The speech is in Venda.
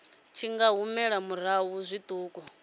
tshi nga humela murahu zwiṱuku